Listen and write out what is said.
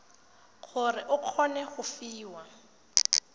gore o kgone go fiwa